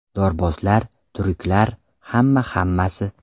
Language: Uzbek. Dorbozlar, tryuklar, hamma hammasi.